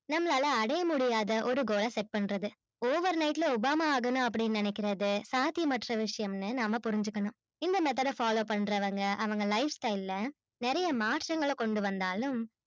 நம்மளால அடைய முடியாத ஒரு goal ஆ set பண்றது overnight ல obama ஆகணும்னு நினைக்குறது சாத்யம்மற்ற விஷயம் னு புரிஞ்சிக்கணும் இந்த method ஆ follow பண்றவங்க அவங்க lifestyle ல நெறைய மாற்றம் கொண்டுவந்தாலும்